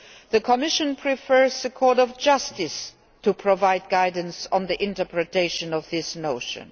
The Commission prefers the Court of Justice to provide guidance on the interpretation of this notion.